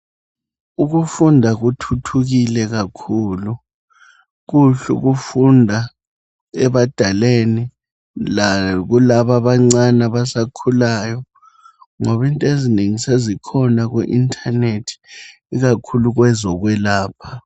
Ukufunda kuthuthukile kakhulu. Kuhle ukufunda ebadaleni lakulabo abancane abasakhulayo ngoba into ezinengi sezikhona kuintanethi ikakhulu kwezekwelapha.